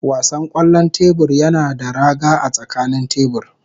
Wasan kwallon tebur yana da raga a tsakanin tebur.